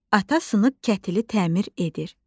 Ata sınıq kətili təmir edir.